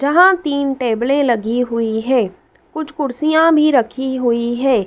जहां तीन टेबलें लगी हुई है कुछ कुर्सियां भी रखी हुई है।